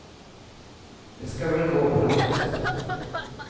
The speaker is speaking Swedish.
Det ska väl gå på något sätt.